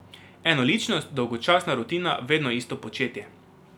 Enoličnost, dolgočasna rutina, vedno isto početje.